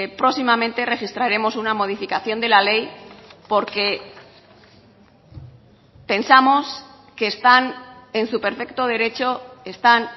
próximamente registraremos una modificación de la ley porque pensamos que están en su perfecto derecho están